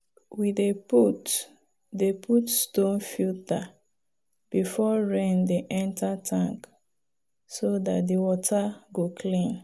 we dey put dey put stone filter before rain dey enter tank so dat the water go clean.